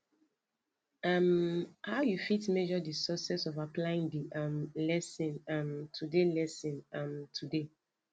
um how you fit measure di success of applying di um lesson um today lesson um today